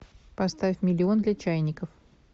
поставь миллион для чайников